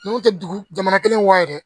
N'u tɛ dugu jamana kelen wa dɛ